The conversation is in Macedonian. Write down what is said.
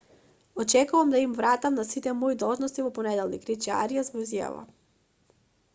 очекувам да им се вратам на сите мои должности во понеделник рече ариас во изјава